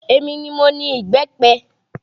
Èmi ni mo ni ìbẹ́pẹ